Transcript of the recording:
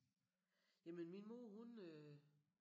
Jamen min mor hun øh